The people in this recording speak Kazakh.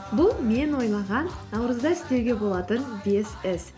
бұл мен ойлаған наурызда істеуге болатын бес іс